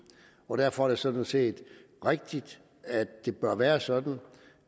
og derfor er det sådan set rigtigt at det bør være sådan